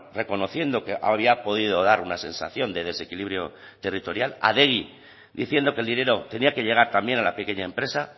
reconociendo que había podido dar una sensación de desequilibrio territorial adegi diciendo que el dinero tenía que llegar también a la pequeña empresa